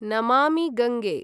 Namami Gange